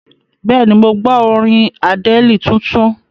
Bẹ́ẹ̀ni, mo gbọ́ orin Àdẹ́ẹ̀lì tuntun.